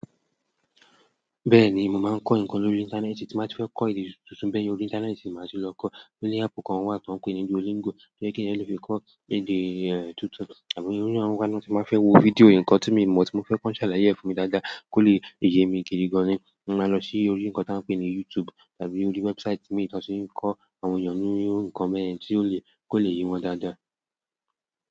Bẹ́ẹ̀ni mo maa n ko nkan lórí intaneetii ti ba ti fe ko èdè tuntun be yen orí intaneetii ni maa ti lo ko. Oni áàpù kan wà tí wọ́n ń pè ní Duolingo, tí ó jẹ́ pe ẹyan le fi kọ́ èdè tuntun tàbí irú àwọn ìgbà mi ti fẹ́ wo fídíò nǹkan tí mo mọ̀ tí mo fẹ́ kọ́ ń ṣàlàyé fún mi dáadáa kó lè yemi gidi gani, màá lọ sí orí ǹkan tí a n pè ní YouTube tàbí orí wẹ́bsite imi tí wóń ti n kọ́ àwọn èyan ní ǹkan be yen tí ó lè—kó lè yé wọn dáadáa.